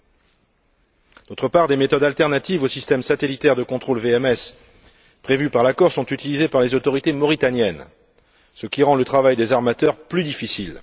Par ailleurs, des méthodes alternatives au système satellitaire de contrôle VMS prévu par l'accord sont utilisées par les autorités mauritaniennes, ce qui rend le travail des armateurs plus difficile.